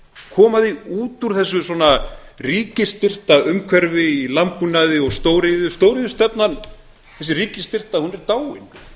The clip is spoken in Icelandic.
koma því út úr þessu svona ríkisstyrkta umhverfi í landbúnaði og stóriðju stóriðjustefnan þessi ríkisstyrkta hún er dáin hún er